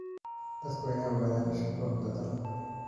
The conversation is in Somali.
Dadku waa inay ogaadaan shuruucda dalka.